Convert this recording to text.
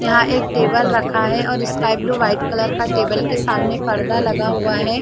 यहाँ एक टेबल रखा है और स्काई ब्लू वाइट कलर का टेबल के सामने पर्दा लगा हुआ है।